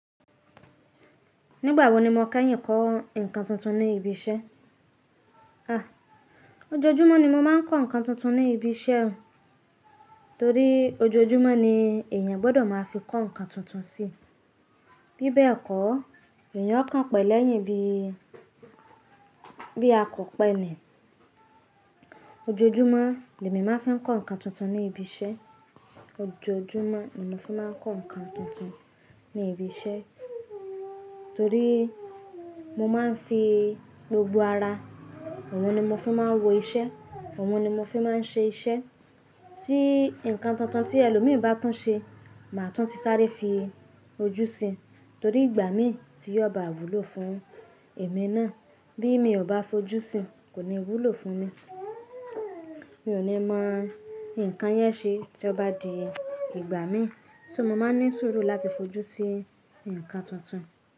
Nígbà wo ni mo kẹ́yìn kó nǹkan tuntun ní ibi iṣẹ́? Ojoojúmọ́ ni mo máa ń kó nǹkan tuntun ní ibi iṣẹ́, torí ojoojúmọ́ ni èèyàn gbọ́dọ̀ máa fi kó nǹkan tuntun sí. Bí bẹ́ẹ̀ kọ́, èèyàn o kàn pẹ̀lẹ́yìn bí, bí a kọ̀ pẹ́ ni. Ojoojúmọ́, lèmi máa fi ń kó nǹkan tuntun ní ibi iṣẹ́. Ojoojúmọ́, ni mo fi máa ń kó nǹkan tuntun ní ibi iṣẹ́, torí mo máa ń fi gbogbo ara. Òun ni mo fi máa ń wo iṣẹ́, òun ni mo fi máa ń ṣe iṣẹ́. Tí nǹkan tuntun tí ẹlòmíì bá tún ṣe, màá tún ti sáré fi ojú sí, torí ìgbà mi ti yóò bá wúlò fún èmi náà. Bí èmi ò bá fojú sí, kò ní wúlò fún mi. Mi ò ní mọ nǹkan yẹn ṣe tí ó bá di ìgbà mi. So mo máa ń ní sùúrù láti fojú sí nǹkan tuntun.